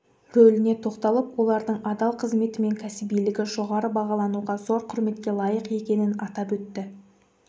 рөліне тоқталып олардың адал қызметі мен кәсібилігі жоғары бағалануға зор құрметке лайық екенін атап өтті